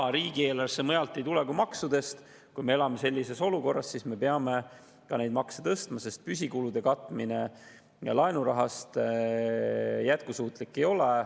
Kui riigieelarvesse ei tule raha mujalt kui maksudest, kui me elame sellises olukorras, siis me peame ka makse tõstma, sest püsikulude katmine laenurahast ei ole jätkusuutlik.